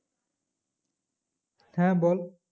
হ্যাঁ বল